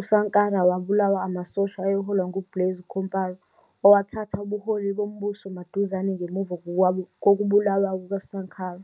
uSankara wabulawa amasosha ayeholwa nguBlaise Compaoré, owathatha ubuholi bombuso maduzane ngemuva kokubulawa kukaSankara.